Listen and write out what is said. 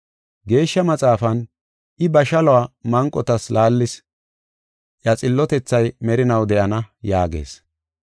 Geeshsha Maxaafan, “I ba shaluwa manqotas laallis; iya xillotethay merinaw de7ana” yaagees.